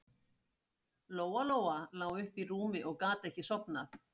Lóa Lóa lá uppi í rúmi og gat ekki sofnað.